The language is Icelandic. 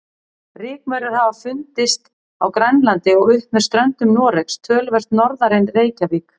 Rykmaurar hafa fundist á Grænlandi og upp með ströndum Noregs, töluvert norðar en Reykjavík.